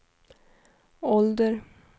ålder